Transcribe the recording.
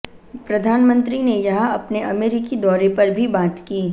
प्रधानमंत्री ने यहां अपने अमेरिकी दौरे पर भी बात की